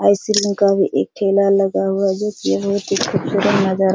ice cream का भी एक ठेला लगा हुआ जो की बहुत ही खूबसूरत नजर --